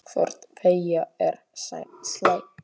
Hvort tveggja er slæmt.